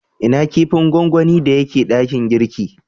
Ina kipin gwangwani da ya ke dakin girki?